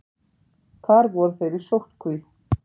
Þar voru þeir í sóttkví.